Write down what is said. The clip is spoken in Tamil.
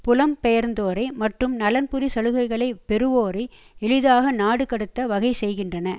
புலம் பெயர்ந்தோரை மற்றும் நலன்புரி சலுகைகளை பெறுவோரை எளிதாக நாடு கடத்த வகை செய்கின்றன